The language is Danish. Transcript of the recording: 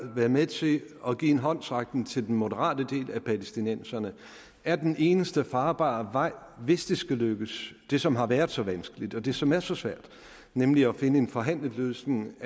være med til at give en håndsrækning til den moderate del af palæstinenserne er den eneste farbare vej hvis det skal lykkes det som har været så vanskeligt og det som er så svært nemlig at finde en forhandlet løsning